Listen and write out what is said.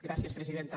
gràcies presidenta